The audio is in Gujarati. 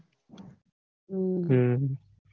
હમ